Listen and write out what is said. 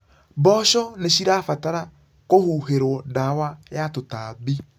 Mboco nĩcirabatara kũhuhĩrwo ndawa ya tũtambi.